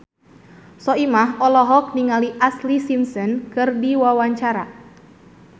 Soimah olohok ningali Ashlee Simpson keur diwawancara